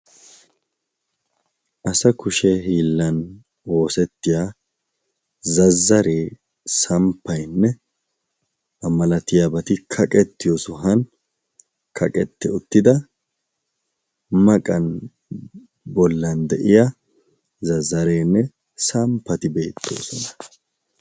Asa kushee hiillan woosettiya zazzaree samppaynne amalatiyaabati kaqettiyo suhan kaqetti uttida maqan bollan de'iya zazareenne samppati beettoosona.